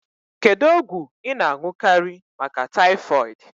Kedu ogwu I n'añukari maka typhoid?